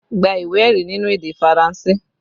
Gba ìwé ẹ̀rí nínú èdè Faranse!